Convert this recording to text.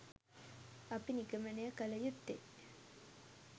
අප නිගමනය කළ යුත්තේ